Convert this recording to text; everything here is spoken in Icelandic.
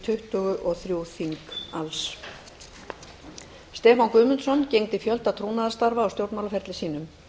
tuttugu og þremur þingum alls stefán guðmundsson gegndi fjölda trúnaðarstarfa á stjórnmálaferli sínum